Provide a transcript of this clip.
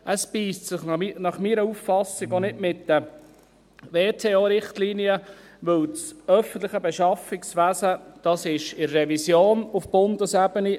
Es beisst sich nach meiner Auffassung auch nicht mit den World-Trade-Organization(WTO)-Richtlinien, weil das öffentliche Beschaffungswesen auf Bundesebene in Revision ist.